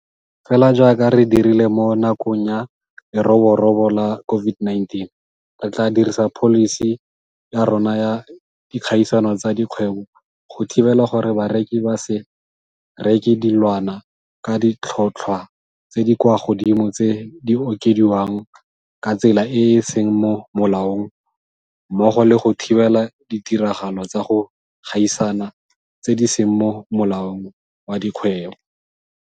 Fela jaaka re dirile mo nakong ya leroborobo la COVID-19, re tla dirisa pholisi ya rona ya dikgaisano tsa dikgwebo go thibela gore bareki ba se reke dilwana ka ditlhotlhwa tse di kwa godimo tse di okediwang ka tsela e e seng mo molaong mmogo le go thibela ditiragalo tsa go gaisana tse di seng mo molaong wa dikgwebo.